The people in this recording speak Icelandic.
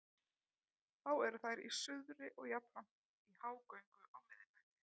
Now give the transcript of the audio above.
Þá eru þær í suðri og jafnframt í hágöngu á miðnætti.